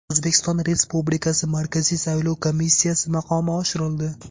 O‘zbekiston Respublikasi Markaziy saylov komissiyasi maqomi oshirildi.